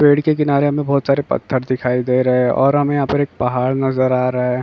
पेड़ के किनारे हमें बहुत सारे पथ्थर दिखाई दे रहे हैं। और हमें यहाँ पर एक पहाड़ नजर आ रहा हैं।